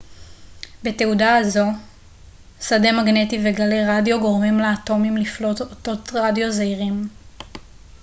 בתהודה הזו שדה מגנטי וגלי רדיו גורמים לאטומים לפלוט אותות רדיו זעירים